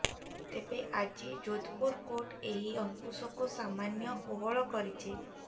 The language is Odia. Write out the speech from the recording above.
ତେବେ ଆଜି ଯୋଧପୁର କୋର୍ଟ ଏହି ଅଙ୍କୁଶକୁ ସାମାନ୍ୟ କୋହଳ କରିଛନ୍ତି